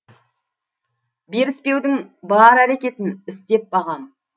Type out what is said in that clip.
беріспеудің бар әрекетін істеп бағам